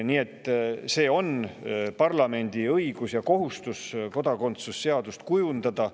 See on parlamendi õigus ja kohustus kodakondsuse seadust kujundada.